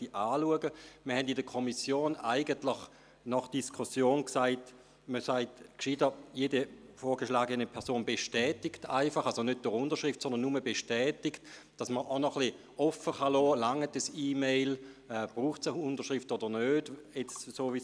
Eigentlich hatten wir in der Kommission nach der Diskussion gesagt, man solle besser sagen «Jede vorgeschlagene Person bestätigt», das heisst nicht durch Unterschrift, damit man offen lassen kann, ob eine E-Mail reicht oder ob es eine Unterschrift braucht oder nicht.